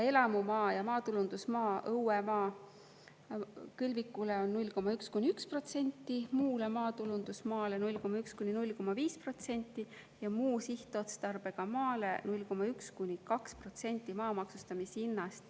Elamumaa ja maatulundusmaa õuemaa kõlvikule on 0,1–1%, muule maatulundusmaale 0,1–0,5% ja muu sihtotstarbega maale 0,1–2% maa maksustamishinnast.